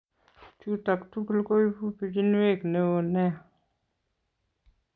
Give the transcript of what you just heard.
Chutok tugul koibu pichinwek neo nea